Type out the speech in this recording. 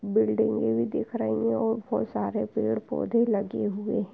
बिल्डिंगे भी दिख रही है और बहुत सारे पेड़ पौधे लगे हुए हैं|